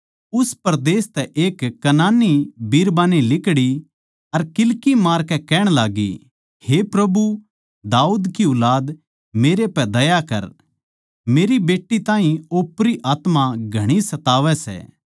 उस परदेस तै एक कनानी बिरबान्नी लिकड़ी अर किल्की मारकै कहण लाग्गी हे प्रभु दाऊद की ऊलाद मेरै पै दया कर मेरी बेट्टी ताहीं ओपरी आत्मा घणी सतावै सै